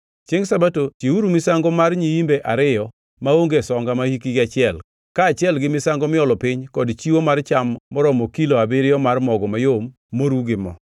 “ ‘Chiengʼ Sabato, chiwuru misango mar nyiimbe ariyo maonge songa mahikgi achiel, kaachiel gi misango miolo piny kod chiwo mar cham maromo kilo abiriyo mar mogo mayom moru gi mo.